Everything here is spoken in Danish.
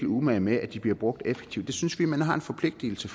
umage med at de bliver brugt effektivt synes vi man har en forpligtelse